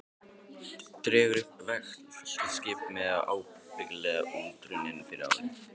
Dregur upp velktan skiptimiða, ábyggilega útrunninn fyrir ári.